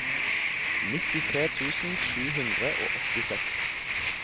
nittitre tusen sju hundre og åttiseks